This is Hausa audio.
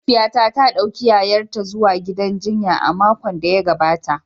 Mahaifiyata ta dauki yayarta zuwa gidan jinya a makon da ya gabata.